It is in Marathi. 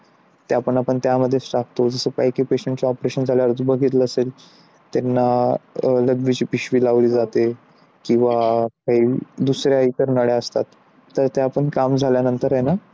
त्या पण त्यामध्येच टाकतो जसं की काय काय patient ला आपण operation झाल्यावर बघितला असेल त्यांना लघवीची पिशवी लावली जाते किंवा दुसरा इतर नळ्या असतात तर त्या पण काम झाल्यावर नंतर आहे ना